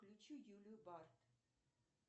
включи юлию барт